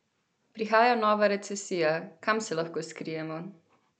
Prihaja nova recesija, kam se lahko skrijemo?